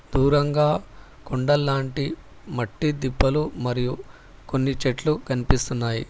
దూరంగా కొండలాంటి మట్టి తిప్పలు మరియు కొన్ని చెట్లు కనిపిస్తున్నాయి.